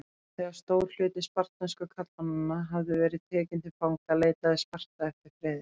Þegar stór hluti spartnesku karlmannanna hafði verið tekinn til fanga leitaði Sparta eftir friði.